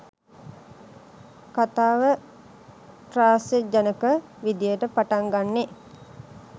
කථාව ත්‍රාස්‍යජනක විදියට පටන් ගන්නේ.